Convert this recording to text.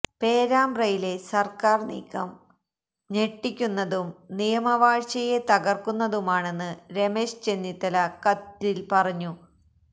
പേരാമ്പ്രയിലെ സര്ക്കാര് നീക്കം ഞെട്ടിക്കുന്നതും നിയമവാഴ്ചയെ തകര്ക്കുന്നതുമാണെന്ന് രമേശ് ചെന്നിത്തല കത്തില് പറഞ്ഞു